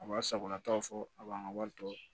A b'a sagonataw fɔ a b'an ka wari to